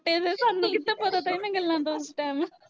ਤੇ ਸਾਨੂੰ ਕਿਥੇ ਪਤਾ ਤਾ ਏਨਾ ਗੱਲਾਂ ਦਾ ਉਸ ਟਾਈਮ